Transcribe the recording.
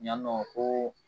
Yan nɔ ko